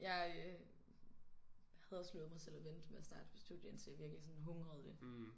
Jeg øh havde også lovet mig selv at vente med at starte på studie indtil jeg virkelig sådan hungrede